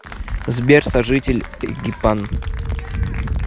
сбер сожитель эгипан